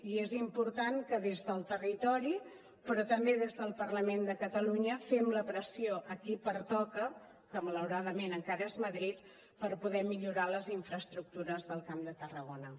i és important que des del territori però també des del parlament de catalunya fem la pressió a qui pertoca que malauradament encara és madrid per poder millorar les infraestructures del camp de tarragona